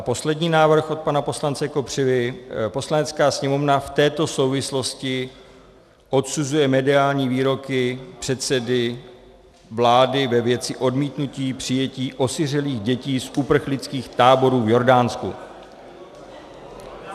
A poslední návrh od pana poslance Kopřivy: "Poslanecká sněmovna v této souvislosti odsuzuje mediální výroky předsedy vlády ve věci odmítnutí přijetí osiřelých dětí z uprchlických táborů v Jordánsku."